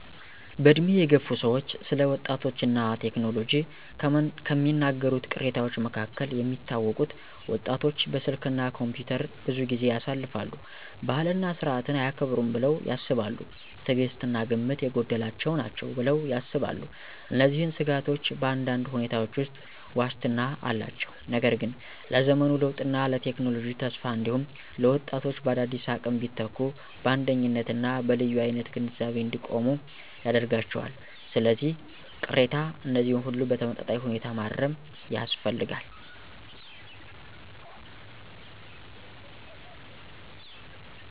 በዕድሜ የገፉ ሰዎች ስለ ወጣቶች እና ቴክኖሎጂ ከሚናገሩት ቅሬታዎች መካከል የሚታወቁት: ወጣቶች በስልክ እና ኮምፒውተር ብዙ ጊዜ ያሳልፋሉ። ባህልና ሥርዓትን አያከብሩም ብለው ያስባሉ። ትዕግሥት እና ግምት የጎደላቸው ናቸው ብለው ያስባሉ። እነዚህን ስጋቶች በአንዳንድ ሁኔታዎች ውስጥ ዋስትና አላቸው፣ ነገር ግን ለዘመኑ ለውጥና ለቴክኖሎጂ ተስፋ እንዲሁም ለወጣቶች በአዳዲስ አቅም ቢተኩ በአንደኝነት እና በልዩ አይነት ግንዛቤ እንዲቆሙ ያደርጋቸዋል። ስለዚህ፣ ቅሬታ እነዚህን ሁሉ በተመጣጣኝ ሁኔታ ማረም ያስፈልጋል።